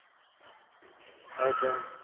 হয়েছে